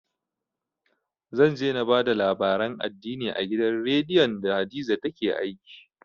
Zan je na ba da labaran addini a gidan radiyon da hadiza take aiki